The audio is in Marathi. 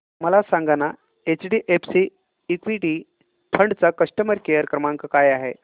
मला सांगाना एचडीएफसी इक्वीटी फंड चा कस्टमर केअर क्रमांक काय आहे